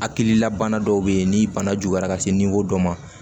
Hakililabana dɔw be yen ni bana juguyara ka se dɔ ma